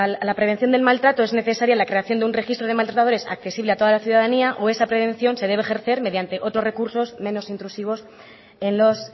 la prevención del maltrato es necesaria la creación de un registro de maltratadores accesible a toda la ciudadanía o esa prevención se debe ejercer mediante otros recursos menos intrusivos en los